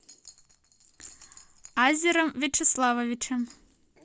азером вячеславовичем